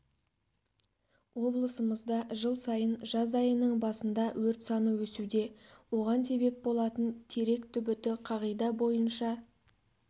облысымызда жыл сайын жаз айының басында өрт саны өсуде оған себеп болатын терек түбіті қағида бойынша